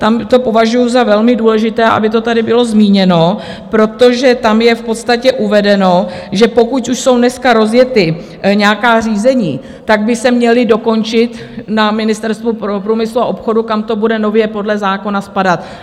Tam to považuju za velmi důležité, aby to tady bylo zmíněno, protože tam je v podstatě uvedeno, že pokud už jsou dneska rozjeta nějaká řízení, tak by se měla dokončit na Ministerstvu průmyslu a obchodu, kam to bude nově podle zákona spadat.